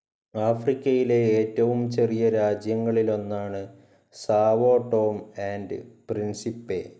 ആഫ്രിക്കയിലെ ഏറ്റവും ചെറിയ രാജ്യങ്ങളിലൊന്നാണ് സാവോ ടോം ആൻഡ്‌ പ്രിൻസിപ്പെ.